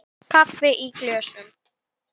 Kaffi í glösum.